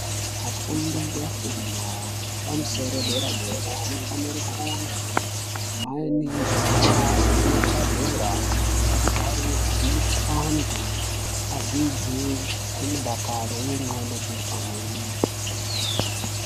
Vafundi efundo epamusoro dera dera anofanira kunge muine zvigaro nematabhura ekugatira zvinoita antu adzidzi nemudakaro uye ndxondo dziripamweni.